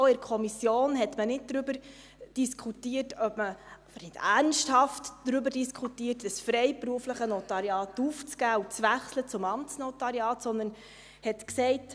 Auch in der Kommission hat man nicht darüber diskutiert – nicht darüber diskutiert –, das freiberufliche Notariat aufzugeben und zum Amtsnotariat zu wechseln, sondern man hat gesagt: